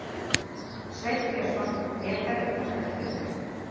Sveinn Björnsson lék þar umtalsvert hlutverk.